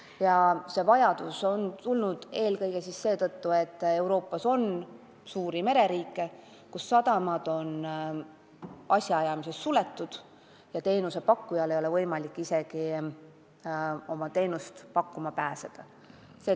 Uue normi vajadus kerkis esile eelkõige seetõttu, et Euroopas on suuri mereriike, kus sadamate asjaajamine on suletud ja teenusepakkujatel ei ole võimalik isegi oma teenuseid pakkuma pääseda.